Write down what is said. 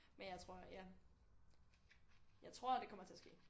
Men jeg tror ja jeg tror det kommer til at ske